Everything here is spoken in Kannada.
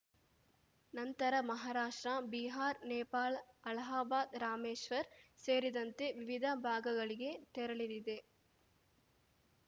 ನಂತರ ಮಹಾರಾಷ್ಟ್ರ ಬಿಹಾರ್ ನೇಪಾಳ್ ಅಲಹಾಬಾದ್‌ ರಾಮೇಶ್ವರ್‌ ಸೇರಿದಂತೆ ವಿವಿಧ ಭಾಗಗಳಿಗೆ ತೆರಳಲಿದೆ